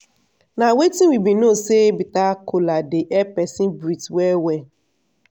na wetin we bin know say bitter kola dey help peson breath well well.